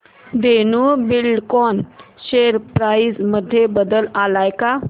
Dhenu Buildcon share price मध्ये बदल आलाय का